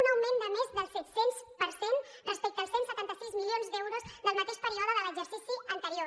un augment de més del set cents per cent respecte als cent i setanta sis milions d’euros del mateix període de l’exercici anterior